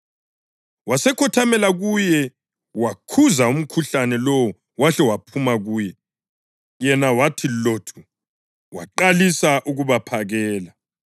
Wasekhothamela kuye wakhuza umkhuhlane lowo wahle waphuma kuye. Yena wathi lothu, waqalisa ukubaphakela.